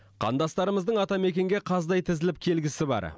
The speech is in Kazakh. қандастарымыздың атамекенге қаздай тізіліп келгісі бар